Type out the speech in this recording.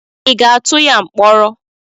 Ị ga-atụ ya mkpọrọ?